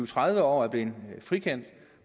tredive år er blevet frikendt